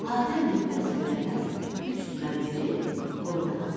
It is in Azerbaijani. Hatəm dinməz söyləməz üç tümən verib qoyunu aldı.